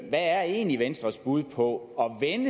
er egentlig venstres bud på